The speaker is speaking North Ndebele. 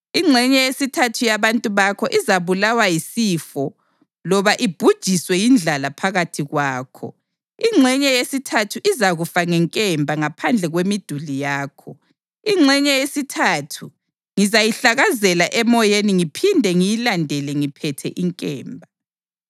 Ingxenye yesithathu yabantu bakho izabulawa yisifo loba ibhujiswe yindlala phakathi kwakho; ingxenye yesithathu izakufa ngenkemba ngaphandle kwemiduli yakho; ingxenye yesithathu ngizayihlakazela emoyeni ngiphinde ngiyilandele ngiphethe inkemba.